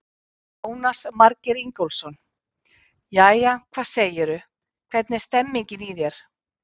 Jónas Margeir Ingólfsson: Jæja, hvað segirðu, hvernig er stemmingin í þér?